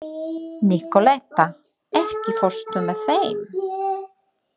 Nikoletta, ekki fórstu með þeim?